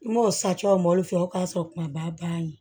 N m'o sati o mɔli fɛ o k'a sɔrɔ kumaba bannen